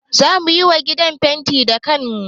Za mu yi wa gidan fenti da kanmu